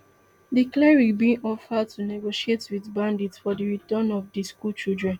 di cleric bin offer to negotiate wit bandits for di return of di schoolchildren